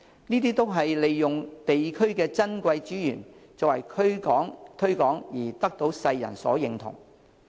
這些都是利用地區的珍貴資源作推廣而得到世人所認同。